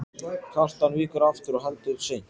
Kjartan víkur aftur og heldur seint.